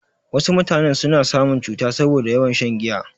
Wasu mutanen suna samun cuta saboda yawan shan giya.